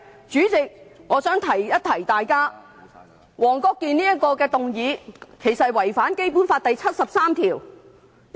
主席，我想提醒大家，黃國健議員提出的議案其實是違反了《基本法》第七十三條。